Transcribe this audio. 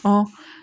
Ɔ